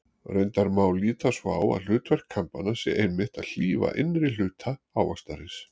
Reyndar má líta svo á að hlutverk kambanna sé einmitt að hlífa innri hluta ávaxtarins.